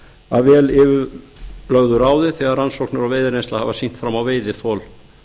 að vel yfirlögðu ráði þegar rannsóknir og veiðireynsla hafa sýnt fram á veiðiþol